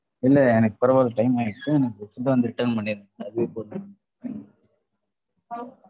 இல்ல எனக்கு பரவால்ல time ஆயிடுச்சு எனக்கு food அ வந்து return பண்ணிடுங்க